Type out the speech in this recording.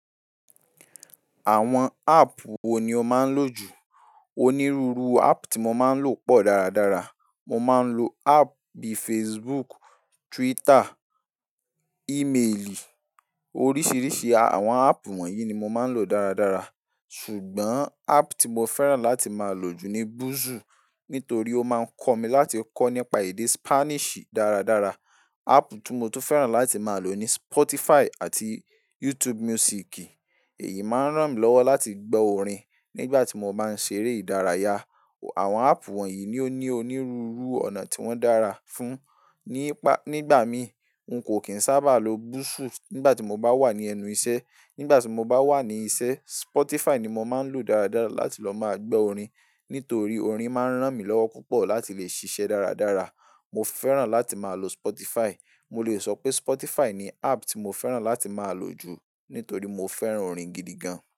Àwọn app wo ni o máa ń lò jù? Onírúurú app tí mo máa ń lò pọ̀ dáradára. Mo máa ń lo app bíi Facebook, Twitter, e-mailì. Oríṣiríṣi àwọn app wọ̀nyí ni mo máa ń lò dáradára. Ṣùgbọ́n app tí mo fẹ́ràn láti máa lò jù ni Busuu, nítorí ó máa ń kọ́ mi láti kọ́ nípa èdè Spanish dáradára. App tí mo tún fẹ́ràn láti máa lò ni Spotify àti YouTube Music. Èyí máa ń ràn mí lọ́wọ́ láti gbọ́ orin nígbà tí mo bá ń ṣeré ìdárayá. Àwọn app wọ̀nyí ni ó ní onírúurú ọ̀nà tí wọ́n dára fún. Nípa, nígbà mi, n kò kín sábà lo Busuu nígbà tí mo bá wà ní ẹnu iṣẹ́. Nígbà tí mo bá wà ní iṣẹ́, Spotify ni mo máa ń lò dáradára láti lọ máa gbọ́ orin. Nítorí orin máa ń ràn mí lọ́wọ́ púpọ̀ láti lè ṣiṣẹ́ dáradára. Mo fẹ́ràn láti máa lo Spotify. Mo lè sọ pé Spotify ni app tí mo fẹ́ràn láti máa lò jù nítorí mo fẹ́ràn orin gidi gan.